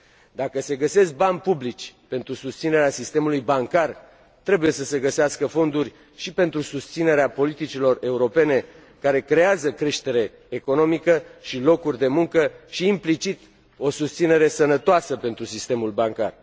Dacă se găsesc bani publici pentru susținerea sistemului bancar, trebuie să se găsească fonduri și pentru susținerea politicilor europene care creează creștere economică și locuri de muncă și, implicit, o susținere sănătoasă pentru sistemul bancar.